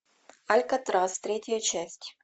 алькатрас третья часть